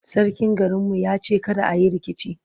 sarkin garin mu ya ce kada ayi rikici